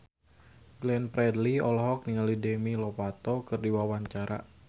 Glenn Fredly olohok ningali Demi Lovato keur diwawancara